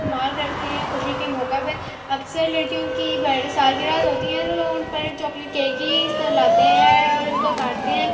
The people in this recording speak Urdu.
استمعال کرتے ہے۔ خصی کے مہکا پی اکثر لادکیو کی سالگرہ ہوتی ہے۔ تو ان پر چاکلیٹ کیک ہی لاتے ہے اور انکو کاٹتے ہے۔